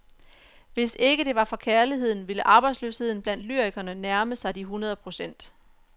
Hvis ikke det var for kærligheden, ville arbejdsløsheden blandt lyrikerne nærme sig de hundrede procent.